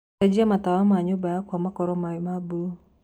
cenjĩa matawa ma nyũmba yakwa makorwo me ma bũlũũ